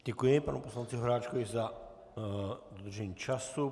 Děkuji panu poslanci Horáčkovi za dodržení času.